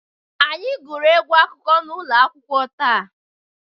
Anyị gụrụ egwu akụkọ n'ụlọ akwụkwọ taa.